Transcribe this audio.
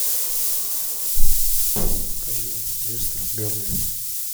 покажи лестер бернли